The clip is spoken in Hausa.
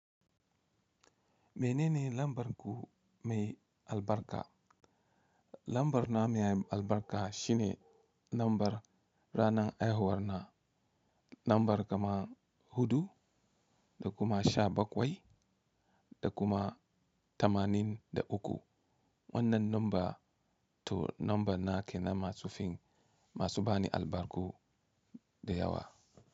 Mai nene lambar ku mai albarka. Lambar na mai albarka shine lambar ranan haihuwar na, lambar kamar hudu da kuma sha bakwai da kuma tamanin da uku. Wannan lambar, to lambar nake na masu fim masu bani albarku da yawa.